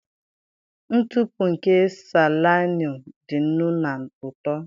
Ntụpụ nke salaịnụ dị nnu na uto.